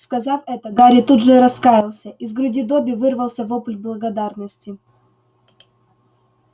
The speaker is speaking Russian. сказав это гарри тут же раскаялся из груди добби вырвался вопль благодарности